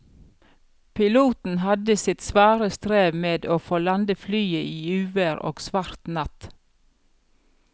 Piloten hadde sitt svare strev med å få landet flyet i uvær og svart natt.